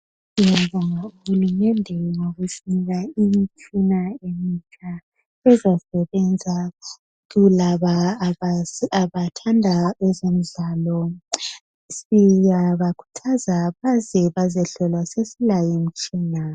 siyabonga uhulumende ngoba usinika imitshina eminengi ezasebenza kualaba abathanda ezemidlalo siyabakhuthaza baze bezehlolwa sesilayo imitshina